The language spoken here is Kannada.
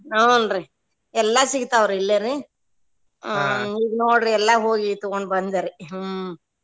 ಹೂನ್ರಿ ಎಲ್ಲಾ ಸಿಗ್ತಾವ್ರಿ ಇಲ್ಲೇರಿ ಹ್ಮ್ ಈಗ್ ನೋಡ್ರಿ ಎಲ್ಲಾ ಹೋಗಿ ತುಗೊಂಡ್ ಬಂದರಿ ಹ್ಮ್.